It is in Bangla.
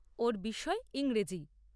ওর বিষয় ইংরেজি।